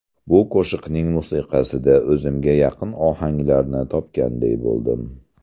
Bu qo‘shiqning musiqasida o‘zimga yaqin ohanglarni topganday bo‘ldim.